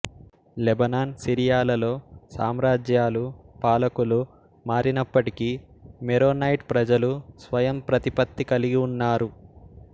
Lebanon సిరియాలలో సామ్రాజ్యాలు పాలకులు మారినప్పటికీ మెరోనైట్ ప్రజలు స్వయం ప్రతిపత్తి కలిగి ఉన్నారు